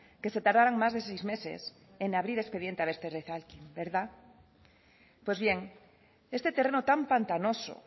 que se tardaron más de seis meses en abrir expediente al verdad pues bien este terreno tan pantanoso